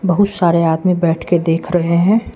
बहुत सारे आदमी बैठ के देख रहे हैं।